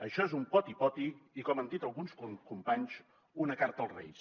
això és un poti poti i com han dit alguns companys una carta als reis